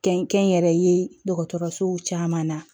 Kɛn kɛnyɛrɛye dɔgɔtɔrɔsow caman na